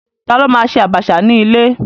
Ta ló ma ṣe àbàṣà ní ilé?